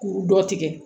Kuru dɔ tigɛ